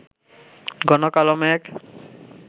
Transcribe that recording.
ঘন কালো মেঘ